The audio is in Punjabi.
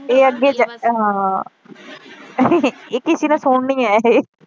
ਇਹ ਅੱਗੇ ਹਾਂ ਇਹ ਕਿਸੇ ਨੇ ਸੁਣਨੀਆ ਇਹ